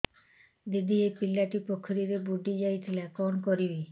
ଦିଦି ଏ ପିଲାଟି ପୋଖରୀରେ ବୁଡ଼ି ଯାଉଥିଲା କଣ କରିବି